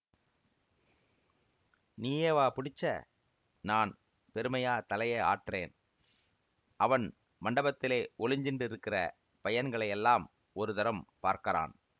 நீயேவா புடிச்சே நான் பெருமையா தலையை ஆட்டறேன் அவன் மண்டபத்திலே ஒளிஞ்சிண்டிருக்கிற பையன்களையெல்லாம் ஒரு தரம் பார்க்கறான்